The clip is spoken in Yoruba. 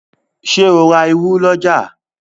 Ṣe o rá ìrù l'ọja?